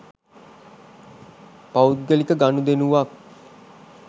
පෞද්ගලික ගනුදෙනුවක්